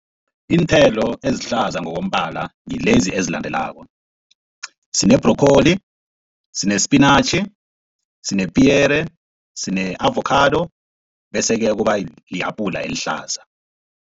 Iinthelo ezihlaza ngokombala ngilezi ezilandelako, sine-broccoli, sinespinatjhi, sinepiyere, sine-avokhado bese-ke kuba li-apula elihlaza.